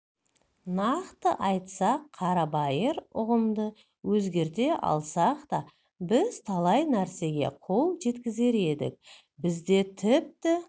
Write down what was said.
нақты айтсақ қарабайыр ұғымды өзгерте алсақ та біз талай нәрсеге қол жеткізер едік бізде тіпті